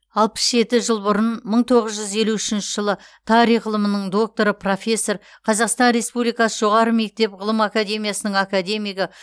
алпыс жеті жыл бұрын мың тоғыз жүз елу үшінші жылы тарих ғылымының докторы профессор қазақстан республикасы жоғары мектеп ғылым академиясының академигі